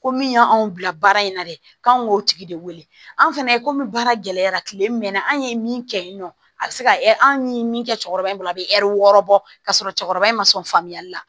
Ko min y'anw bila baara in na dɛ k'anw k'o tigi de wele an' fɛnɛ ye komi baara gɛlɛyara tile mɛnna anw ye min kɛ yen nɔ a bɛ se ka anw ye min kɛ cɛkɔrɔba in bolo a bɛ wɔɔrɔ bɔ ka sɔrɔ cɛkɔrɔba in ma sɔn faamuyali la